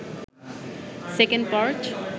second part